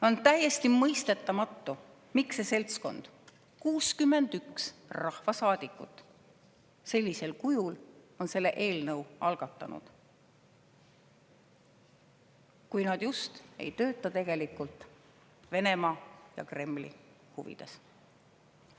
On täiesti mõistetamatu, miks see seltskond, 61 rahvasaadikut, sellisel kujul on selle eelnõu algatanud, kui nad just ei tööta Venemaa ja Kremli huvides.